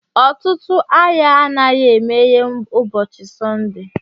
Ọtụtụ ahịa anaghị emeghe ụbọchị Sọnde